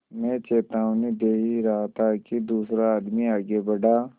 मैं चेतावनी दे ही रहा था कि दूसरा आदमी आगे बढ़ा